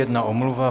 Jedna omluva.